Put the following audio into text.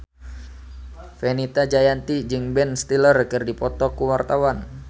Fenita Jayanti jeung Ben Stiller keur dipoto ku wartawan